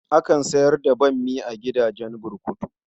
Akan sayar da bammi a gidajen burkutu.